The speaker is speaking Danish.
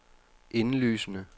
indlysende